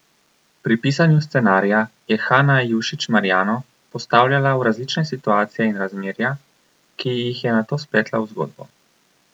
Pri pisanju scenarija je Hana Jušić Marijano postavljala v različne situacije in razmerja, ki jih je nato spletla v zgodbo.